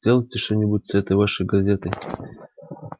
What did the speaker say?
сделайте что-нибудь с этой вашей газетой